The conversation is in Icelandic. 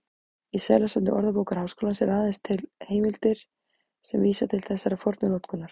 Í seðlasafni Orðabókar Háskólans eru aðeins til heimildir sem vísa til þessarar fornu notkunar.